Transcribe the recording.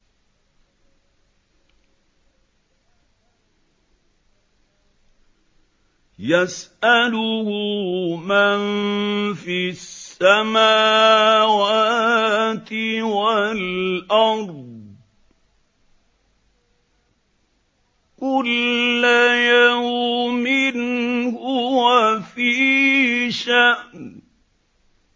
يَسْأَلُهُ مَن فِي السَّمَاوَاتِ وَالْأَرْضِ ۚ كُلَّ يَوْمٍ هُوَ فِي شَأْنٍ